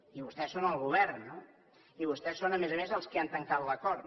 i vostès són el govern no i vostès són a més a més els qui han tancat l’acord